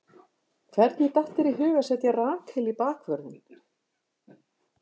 Hvernig datt þér í hug að setja Rakel í bakvörðinn?